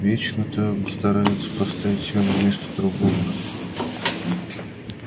вечно-то он старается поставить себя на место другого